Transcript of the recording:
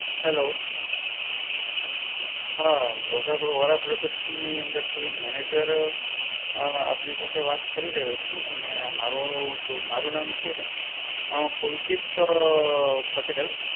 Hello હા brother Vora Brothers ની અંદરથી Manager અમ આપની સાથે વાત કરી રહ્યો છું. અને મારુ શું, મારુ નામ છે અમ પુલકિત પટેલ.